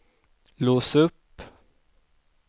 lås upp